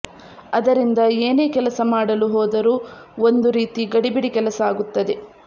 ಅದರಿಂದ ಏನೇ ಕೆಲಸ ಮಾಡಲು ಹೋದರು ಒಂದು ರೀತಿ ಗಡಿಬಿಡಿ ಕೆಲಸ ಆಗುತ್ತದೆ